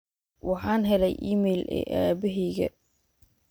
waxaan helay iimayl ee aboheyga